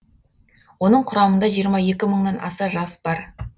оның құрамында жиырма екі мыңнан аса жас бар